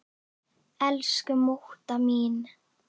Elsku mútta mín.